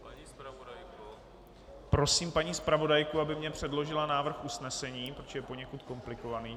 Prosím paní zpravodajku, aby mi předložila návrh usnesení, protože je poněkud komplikovaný.